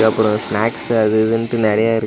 அப்ரோ ஸ்நாக்ஸ் அது இதுன்ட்டு நெறையா இரு.